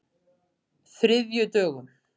þriðjudögum